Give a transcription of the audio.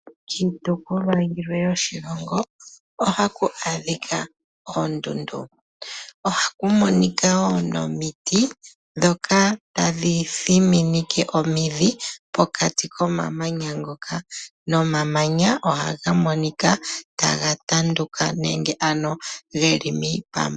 Kiitopolwa yilwe yoshilongo ohaku adhikwa oondundu, ohaku monika woo nomiti dhoka tadhi thimineke omidhi pokati komamanya ngoka nomamanya ohaga monika taga tanduka nenge ano geli miipambu.